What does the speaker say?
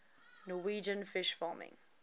norwegian fish farming